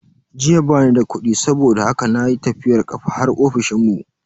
Jiya bani da kudi saboda haka na yi tafiyar kafa har ofishinmu.